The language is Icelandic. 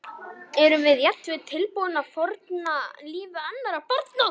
Erum við jafnvel tilbúin að fórna lífi annarra barna?